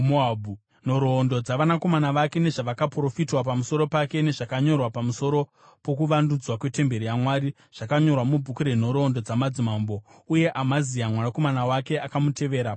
Nhoroondo dzavanakomana vake, nezvakaprofitwa pamusoro pake nezvakanyorwa pamusoro pokuvandudzwa kwetemberi yaMwari zvakanyorwa mubhuku renhoroondo dzamadzimambo. Uye Amazia mwanakomana wake akamutevera paumambo.